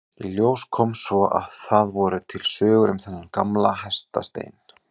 Í ljós kom svo að það voru til sögur um þennan gamla hestastein.